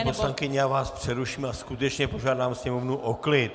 Paní poslankyně, já vás přeruším a skutečně požádám sněmovnu o klid.